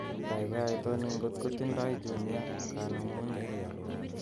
Kaikai itoni ngot kotindoi Jumia kanemunet